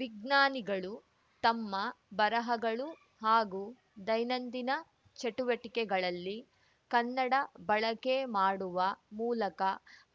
ವಿಜ್ಞಾನಿಗಳು ತಮ್ಮ ಬರಹಗಳು ಹಾಗೂ ದೈನಂದಿನ ಚಟುವಟಿಕೆಗಳಲ್ಲಿ ಕನ್ನಡ ಬಳಕೆ ಮಾಡುವ ಮೂಲಕ